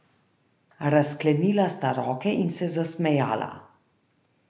Razklenila sta roke in se zasmejala.